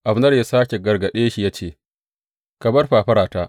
Abner ya sāke gargaɗe shi ya ce, Ka bar fafarata!